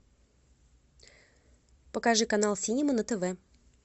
покажи канал синема на тв